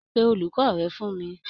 Pé olùkọ rẹ fún mí!